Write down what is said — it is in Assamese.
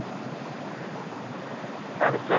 তাৰপিছত